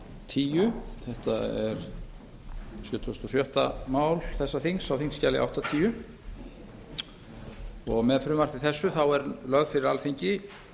tíu þetta er sjötugasta og sjötta mál þessa þings á þingskjali áttatíu með frumvarpi þessu er lögð fyrir alþingi